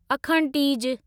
अखण tease